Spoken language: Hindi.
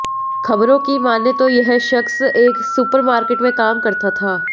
खबरों की माने तो यह शख्स एक सुपरमार्केट में काम करता था